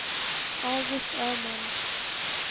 August Öman